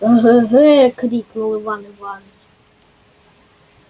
эге-ге крикнул иван иваныч